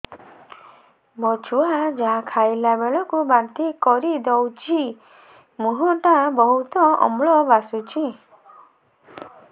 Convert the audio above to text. ମୋ ଛୁଆ ଯାହା ଖାଇଲା ବେଳକୁ ବାନ୍ତି କରିଦଉଛି ମୁହଁ ଟା ବହୁତ ଅମ୍ଳ ବାସୁଛି